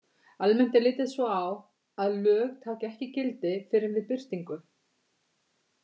Almennt er litið svo á að lög taki ekki gildi fyrr en við birtingu.